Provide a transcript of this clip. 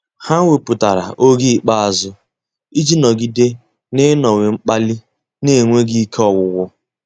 Há wépụ́tara oge ikpeazụ iji nọ́gídé n’ị́nọ́wé mkpali n’énwéghị́ ike ọ́gwụ́gwụ́.